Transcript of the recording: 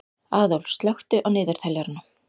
Aðólf, slökktu á niðurteljaranum.